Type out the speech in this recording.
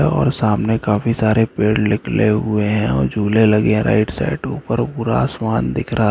और सामने काफी सारे पैड निकले हुए है और झूले लगे राइट साइड ऊपर पूरा आसमान दिख रहा है।